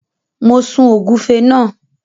Mo sun ògúnfe náà.